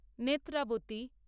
Netravati